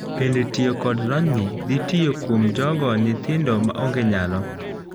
bende tiyo kod lonyni dhitiyo kuom jogo nyithindo maonge nyalo?